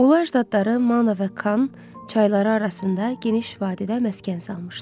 Ular zadları Mana və Kan çayları arasında geniş vadidə məskən salmışdı.